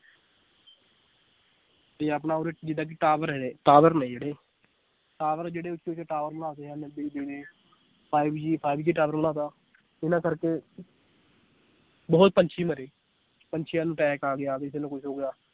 ਤੇ ਆਪਣਾ ਉਰ੍ਹੇ ਜਿਦਾਂ ਕਿ tower ਹੈ tower ਨੇ ਜਿਹੜੇ tower ਜਿਹੜੇ ਉਚੇ ਉਚੇ tower ਲਾ ਤੇ ਆ five G five G tower ਲਾ ਤਾ ਇਹਨਾਂ ਕਰਕੇ ਬਹੁਤ ਪੰਛੀ ਮਰੇ ਪੰਛੀਆਂ ਨੂੰ attack ਆ ਗਿਆ ਕਿਸੇ ਨੂੰ ਕੁਛ ਹੋ ਗਿਆ l